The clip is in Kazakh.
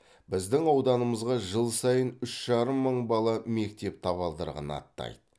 біздің ауданымызға жыл сайын үш жарым мың бала мектеп табалдырығын аттайды